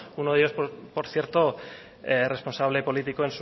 uno de ellos por cierto responsable político